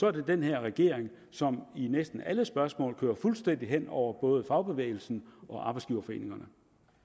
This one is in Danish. er det den her regering som i næsten alle spørgsmål kører fuldstændig hen over både fagbevægelsen og arbejdsgiverforeningerne